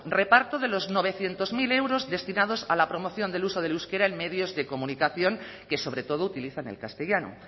reparto de los novecientos mil euros destinados a la promoción del uso del euskera en medios de comunicación que sobretodo utilizan el castellano